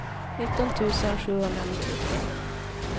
nitton tusen sjuhundranittiotre